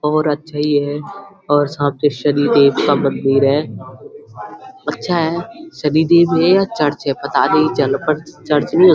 और अच्छे ये हैं और सामने शनी देव का मंदिर है अच्छा है शनी देव हे या चरच है पता नहीं चल रहा पर चर्च भी हो --